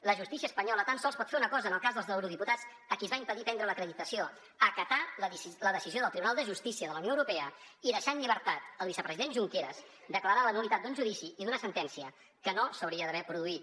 la justícia espanyola tan sols pot fer una cosa en el cas dels eurodiputats a qui es va impedir prendre l’acreditació acatar la decisió del tribunal de justícia de la unió europea i deixar en llibertat el vicepresident junqueras declarar la nul·litat d’un judici i d’una sentència que no s’haurien d’haver produït